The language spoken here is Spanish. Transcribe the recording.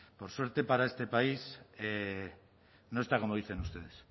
por suerte para este país no está como dicen ustedes